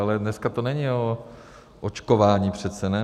Ale dneska to není o očkování přece, ne?